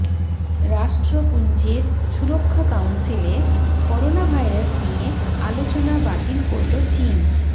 রাষ্ট্রপুঞ্জের সুরক্ষা কাউন্সিলে corona virus নিয়ে আলোচনা বাতিল করল চিন